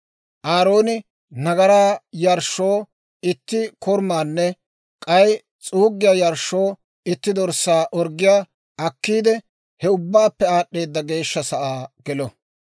Aarooni nagaraa yarshshoo itti korumaanne k'ay s'uuggiyaa yarshshoo itti dorssaa orggiyaa akkiide, he Ubbaappe Aad'd'eeda Geeshsha Sa'aa gelo.